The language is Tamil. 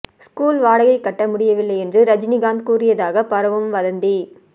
ஸ்கூல் வாடகை கட்ட முடியவில்லை என்று ரஜினிகாந்த் கூறியதாக பரவும் வதந்தி